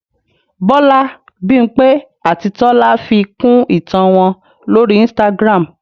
Bọlá, Bímpé àti Tọ́lá fi kún ìtàn wọn lórí Instagram